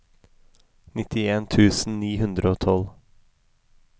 nittien tusen ni hundre og tolv